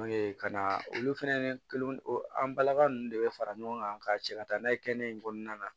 Ka na olu fɛnɛ an balaka ninnu de bɛ fara ɲɔgɔn kan ka cɛ ka taa n'a ye kɛnɛ in kɔnɔna na